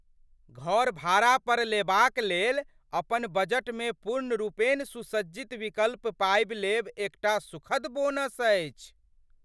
घर भाड़ा पर लेबाक लेल अपन बजटमे पूर्णरूपेण सुसज्जित विकल्प पाबि लेब एकटा सुखद बोनस अछि ।